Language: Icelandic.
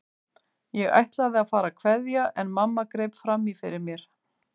Ég ætlaði að fara að kveðja en mamma greip fram í fyrir mér.